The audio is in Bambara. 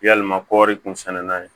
Yalima kɔri kun sɛnɛna ye